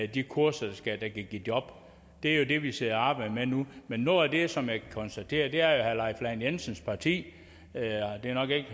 de kurser der kan give job det er jo det vi sidder og arbejder med nu men noget af det som jeg kan konstatere er at herre leif lahn jensens parti det er nok ikke